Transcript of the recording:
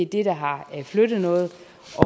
det der har flyttet noget